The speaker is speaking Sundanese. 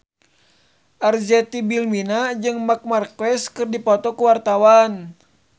Arzetti Bilbina jeung Marc Marquez keur dipoto ku wartawan